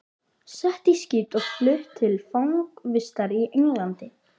Sett í skip og flutt til fangavistar í Englandi!